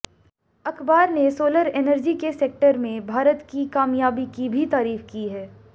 अखबार ने solar energy के सेक्टर में भारत की कामयाबी की भी तारीफ की है